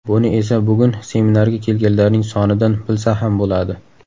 Buni esa bugun seminarga kelganlarning sonidan bilsa ham bo‘ladi.